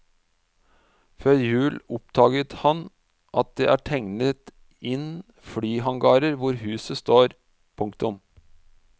Før jul oppdaget han at det er tegnet inn flyhangarer hvor huset står. punktum